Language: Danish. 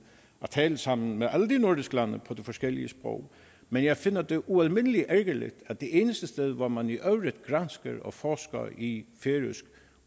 at tale sammen med alle de nordiske lande på de forskellige sprog men jeg finder det ualmindelig ærgerligt at det eneste sted hvor man i øvrigt gransker og forsker i færøsk